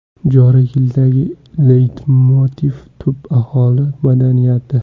Joriy yildagi leytmotiv tub aholi madaniyati.